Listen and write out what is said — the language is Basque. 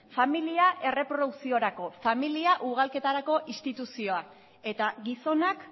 familia erreprodukziorako familia ugalketarako instituzioa eta gizonak